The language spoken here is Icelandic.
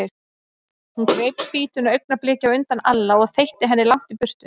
Hún greip spýtuna augnabliki á undan Alla og þeytti henni langt í burtu.